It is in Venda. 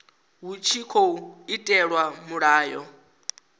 hu tshi tkhou itelwa mulayo